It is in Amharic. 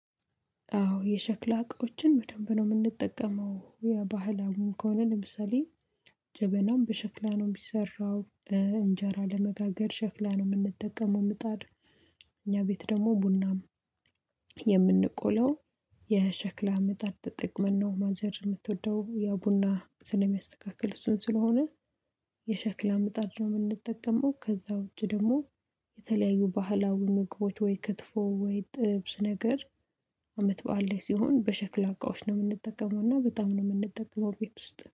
አዎ የሸክላ እቃዎችን በደንብ ነው እምንጠቀመው የባህላዊም ከሆነ ለምሳሌ ጀበናም በሸክላ ነው እሚሰራው። እንጀራ ለመጋገር ሸክላ ነው እምንጠቀመው ምጣድ። እኛ ቤት ደሞ ቡናም የምንቆለው የሸክላ ምጣድ ጥቅመን ነው። ማዘር እምትወደው ያው ቡና ስለሚያስተካክል እሱን ስለሆነ የሸክላ ምጣድ ነው እምንጠቀመው። ከዛ ውጭ ደሞ የተለያዩ ባህላዊ ምግቦች ወይ ክትፎ ወይ ጥብስ ነገር። አመት በዓል ላይ ሲሆን በሸክላ እቃዎች ነው እምንጠቀመው እና በጣም ነው እምንጠቀመው። ቤት ውስጥ